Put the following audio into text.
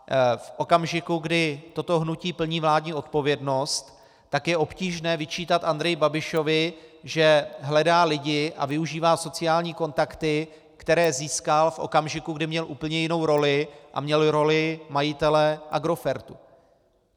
V okamžiku, kdy toto hnutí plní vládní odpovědnost, tak je obtížné vyčítat Andreji Babišovi, že hledá lidi a využívá sociální kontakty, které získal v okamžiku, kdy měl úplně jinou roli, a měl roli majitele Agrofertu.